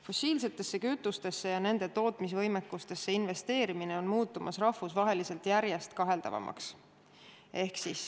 Fossiilsetesse kütustesse ja nende tootmise võimekusse investeerimine muutub rahvusvaheliselt järjest kaheldavamaks.